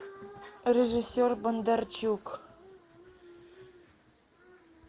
режиссер бондарчук